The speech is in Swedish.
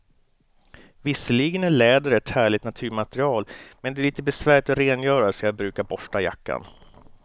Visserligen är läder ett härligt naturmaterial, men det är lite besvärligt att rengöra, så jag brukar borsta jackan.